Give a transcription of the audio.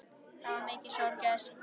Það varð mikil sorg á Eskifirði.